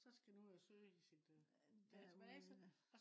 så skal den ud og søge i sin øh database